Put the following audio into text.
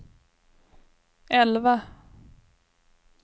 elva